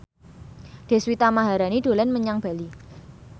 Deswita Maharani dolan menyang Bali